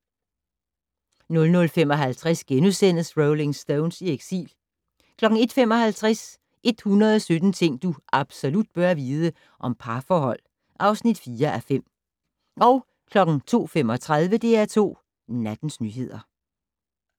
00:55: Rolling Stones i eksil * 01:55: 117 ting du absolut bør vide - om parforhold (4:5) 02:35: DR2 Nattens nyheder